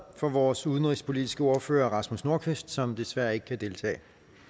for vores udenrigspolitiske ordfører rasmus nordqvist som desværre ikke kan deltage